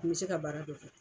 bɛ se ka baara dɔ kɛ.